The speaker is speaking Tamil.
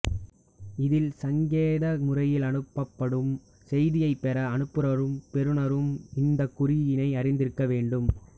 இதில் சங்கேத முறையில் அனுப்பப்படும் செய்தியைப் பெற அனுப்புநரும் பெறுநரும் இந்தக் குறிமுறையை அறிந்திருக்க வேண்டும்